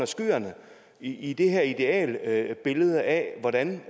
skyerne i det her idealbillede af hvordan